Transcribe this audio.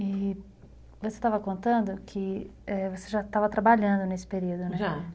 E você estava contando que você já estava trabalhando nesse período, né? Já.